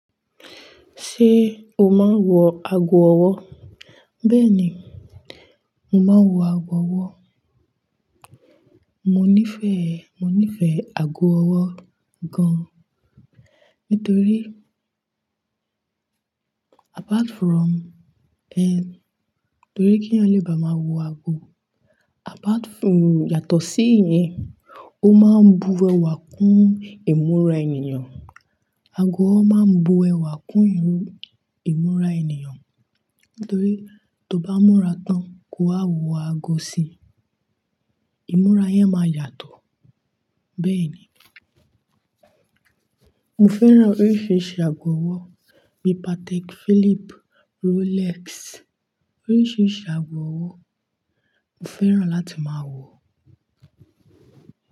Ṣé o máa ń wọ ago ọwọ́? Bẹ́ẹ̀ ni, mo máa ń wọ ago ọwọ́. Mo nífẹ̀ẹ́, mo nífẹ̀ẹ́ ago ọwọ́ gan-an. Nítorí apart from, ẹhn, torí kí ẹ̀yin lè bá máa wọ ago, apart from-- yàtọ̀ sí ìyẹn, ó máa ń bu ẹwà kún ìmúra ènìyàn. Ago ọwọ́ máa ń bu ẹwà kún ìmúra ènìyàn. Nítorí tó bá múra tán kí o wa wọ ago sí i, ìmúra yẹn máa yàtọ̀. Bẹ́ẹ̀ ni, mo fẹ́ran oríṣiríṣi àgọ́ ọwọ́ bí i Patek Philippe, Rolex. Oríṣiríṣi àgọ́ ọwọ́ mo fẹ́ran láti máa wọ.